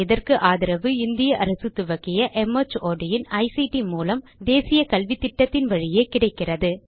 இதற்கு ஆதரவு இந்திய அரசு துவக்கிய மார்ட் இன் ஐசிடி மூலம் தேசிய கல்வித்திட்டத்தின் வழியே கிடைக்கிறது